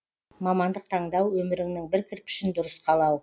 мамандық таңдау өміріңнің бір кірпішін дұрыс қалау